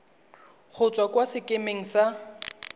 go tswa kwa sekemeng sa